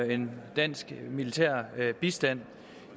en dansk militær bistand